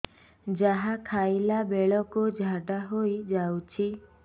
ଯାହା ଖାଇଲା ବେଳକୁ ଝାଡ଼ା ହୋଇ ଯାଉଛି